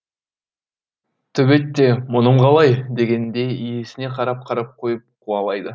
төбет те мұным қалай дегендей иесіне қарап қарап қойып қуалайды